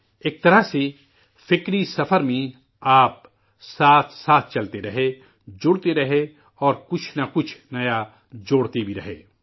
ایک طرح سے، اس فکری سفر میں، آپ، ساتھ ساتھ چلتے رہے، جڑتے رہے اور کچھ نہ کچھ نیا جوڑتے بھی رہے